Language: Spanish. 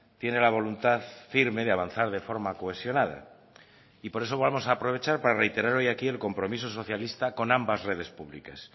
tiene la voluntad firme de avanzar de forma cohesionada y por eso vamos a aprovechar para reiterar hoy aquí el compromiso socialista con ambas redes públicas